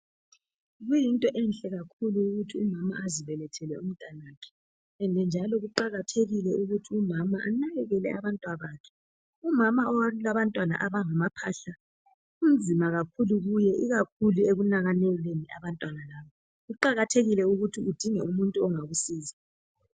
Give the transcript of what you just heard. Kuyinto enhle kakhulu ukuthi umama azibelethele umntanakhe. Njalo kuqakathekile ukuthi umama anakekele abantwana bakhe. Umama olabantwana abangamaphahla kunzima kakhulu kuye ikakhulu ekunakekeleni abantwana. Kuqakathekile ukuthi udinge umuntu ongakusiza.